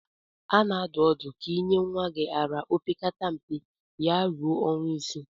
A na-adụ ọdụ ka ị nye nwa gị ara opekata mpe ya-eruo ọnwa isii.